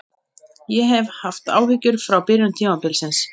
Ég hef haft áhyggjur frá byrjun tímabilsins.